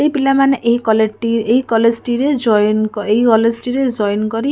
ଏହି ପିଲାମାନେ ଏହି କଲେଟି କଲେଜ ଟିରେ ଜଏନ କରି ଏହି କଲେଜ ଟିରେ ଜଏନ କରି --